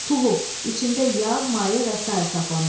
Tuluq, içində yağ, maye və sair saxlamaq.